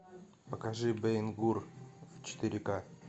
покажи бен гур в четыре ка